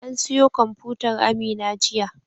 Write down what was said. An siyo kwamfutar Amina jiya.